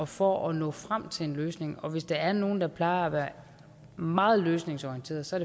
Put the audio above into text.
for at nå frem til en løsning og hvis der er nogen der plejer at være meget løsningsorienterede så